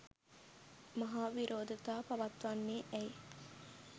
මහා විරෝධතා පවත්වන්නේ ඇයි?